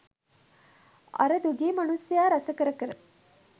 අර දුගී මනුස්සයා රස කර කර